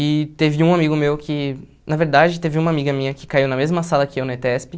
E teve um amigo meu que... Na verdade, teve uma amiga minha que caiu na mesma sala que eu, na ETESP.